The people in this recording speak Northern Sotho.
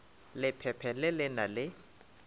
lephephe le le na le